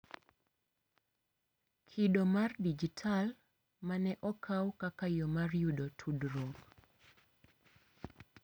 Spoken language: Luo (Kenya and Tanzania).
Kido mar dijital, ma ne okaw kaka yo mar yudo tudruok